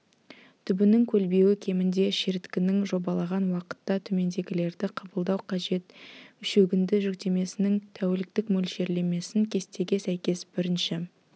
түбінің көлбеуі кемінде шіріткіштің жобалаған уақытта төмендегілерді қабылдау қажет шөгінді жүктемесінің тәуліктік мөлшерлемесін кестеге сәйкес бірінші